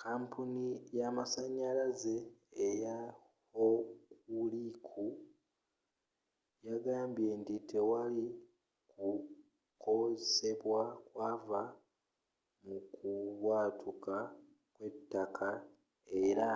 kapuni ya masanyalazi eya hokuriku yagambye nti tewali kukosebwa kwava mukubwatuka kwe'ttaka era